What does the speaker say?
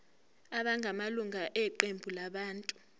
abangamalunga eqembu labantu